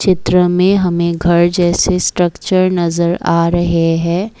चित्र में हमें घर जैसे स्ट्रक्चर नजर आ रहे हैं।